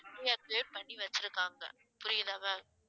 deactivate பண்ணி வச்சிருக்காங்க புரியதா ma'am